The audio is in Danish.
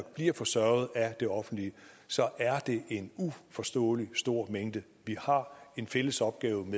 bliver forsørget af det offentlige så er det en uforståelig stor mængde vi har en fælles opgave